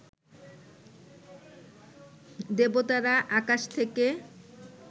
দেবতারা আকাশ থেকে